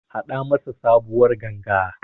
Haɗa masa sabuwar Ganga.